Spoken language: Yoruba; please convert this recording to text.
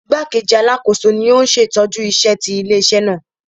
Igbakeji Alakoso ni o n ṣetọju iṣẹ ti ile-iṣẹ naa.